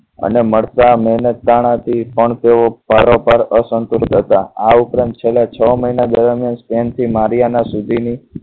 અને મળતા મહેનત તાણા થી પણ તેઓ પારોપાર અસંતુલિત આ ઉપરાંત છેલ્લા છ મહિના દરમિયાન સ્ટેન્ડથી મારીયાના સુધીની